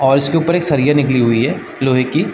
और इसके ऊपर एक सरिया निकली हुई है लोहे की--